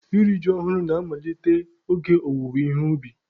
Iri ji ọhụrụ na-amalite oge owuwe ihe ubi.